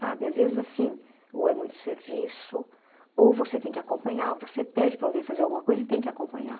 Sabe, às vezes assim, ou é muito serviço, ou você tem que acompanhar, você pede para alguém fazer alguma coisa e tem que acompanhar.